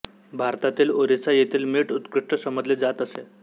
भारतातील ओरिसा येथील मीठ उत्कृष्ट समजले जात असे